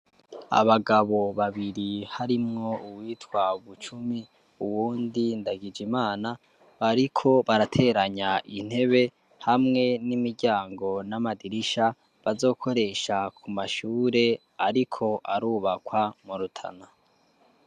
Abagabo babiri harimwo uwitwa bucumi uwundi ndagije imana bariko barateranya intebe hamwe n'imiryango n'amadirisha bazokoresha ku mashure, ariko arubakwa murutana.